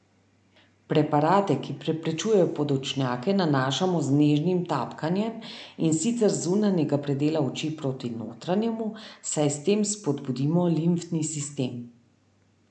Preparate, ki preprečujejo podočnjake, nanašamo z nežnim tapkanjem, in sicer z zunanjega predela oči proti notranjemu, saj s tem spodbudimo limfni sistem.